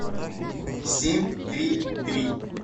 семь три три